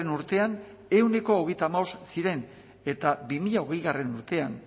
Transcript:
urtean ehuneko hogeita hamabost ziren eta bi mila hogeigarrena urtean